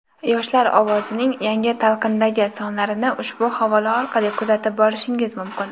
"Yoshlar ovozi"ning yangi talqindagi sonlarini ushbu havola orqali kuzatib borishingiz mumkin.